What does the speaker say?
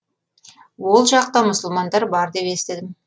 ол жақта мұсылмандар бар деп естідім